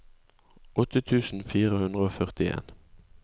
åtte tusen fire hundre og førtien